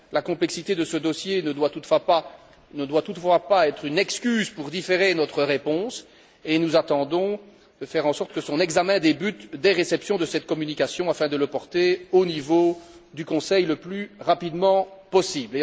La complexité de ce dossier ne doit toutefois pas constituer une excuse pour différer notre réponse, et nous comptons faire en sorte que son examen débute dès réception de cette communication afin de le porter au niveau du Conseil le plus rapidement possible.